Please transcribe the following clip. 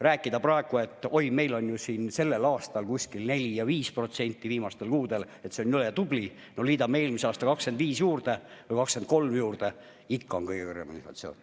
Rääkida praegu, et oi, meil on ju sellel aastal kuskil 4% ja 5% viimastel kuudel, et see on jõle tubli – no liidame eelmise aasta 25% või 23% juurde, ikka on kõige kõrgem inflatsioon.